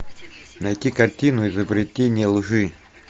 найти картину изобретение лжи